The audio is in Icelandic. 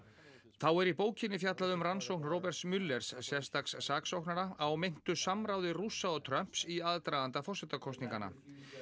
þá er í bókinni fjallað um rannsókn Roberts sérstaks saksóknara á meintu samráði Rússa og Trumps í aðdraganda forsetakosninganna